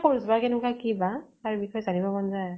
কৰিবা । কেনেকুৱা কি বা, তাৰ বিষ্য়ে জানিব মন যায় ।